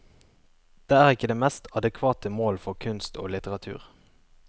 Det er ikke det mest adekvate mål for kunst og litteratur.